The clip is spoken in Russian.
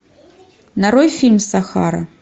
нарой фильм сахара